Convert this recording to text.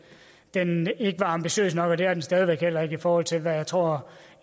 den ikke var ambitiøs nok og det er den stadig væk heller ikke i forhold til hvad jeg tror